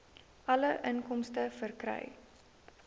alle inkomste verkry